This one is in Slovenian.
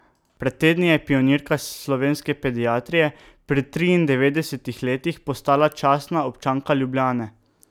Pred tedni je pionirka slovenske pediatrije pri triindevetdesetih letih postala častna občanka Ljubljane.